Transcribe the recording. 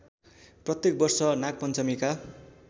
प्रत्येक वर्ष नागपञ्चमीका